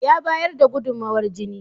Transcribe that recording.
Ya bayar da gudumowar jini.